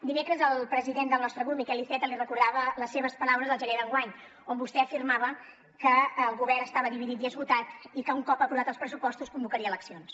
dimecres el president del nostre grup miquel iceta li recordava les seves paraules del gener d’enguany on vostè afirmava que el govern estava dividit i esgotat i que un cop aprovats els pressupostos convocaria eleccions